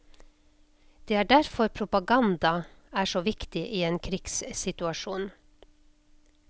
Det er derfor propaganda er så viktig i en krigssituasjon.